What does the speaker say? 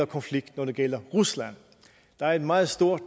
konflikt når det gælder rusland der er en meget stor